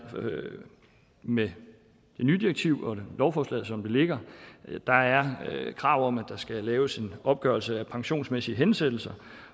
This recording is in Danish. med det nye direktiv og lovforslaget som det ligger krav om at der skal laves en opgørelse af de pensionsmæssige hensættelser